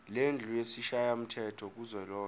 lendlu yesishayamthetho kuzwelonke